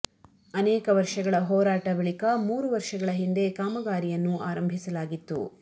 ಅನೇಕ ವರ್ಷಗಳ ಹೋರಾಟ ಬಳಿಕ ಮೂರು ವರ್ಷಗಳ ಹಿಂದೆ ಕಾಮಗಾರಿಯನ್ನು ಆರಂಭಿಲಸಾಗಿತ್ತು